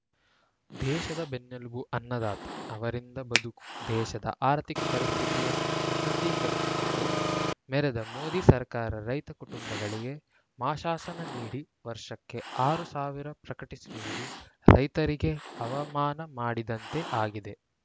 ದೇಶದ ಬೆನ್ನೆಲುಬು ಅನ್ನದಾತ ಅವರಿಂದ ಬದುಕು ದೇಶದ ಅರ್ಥಿಕ ಪರಿಸ್ಥಿತಿಯನ್ನು ಉನ್ನತೀಕರಿಸಿಕೊಂಡು ಮೆರೆದ ಮೋದಿ ಸರ್ಕಾರ ರೈತ ಕುಟುಂಬಗಳಿಗೆ ಮಾಶಾಸನ ನೀಡಿ ವರ್ಷಕ್ಕೆ ಆರ್ ಸಾವಿರ ಪ್ರಕಟಿಸಿರುವುದು ರೈತರಿಗೆ ಅವಮಾನ ಮಾಡಿದಂತೆ ಆಗಿದೆ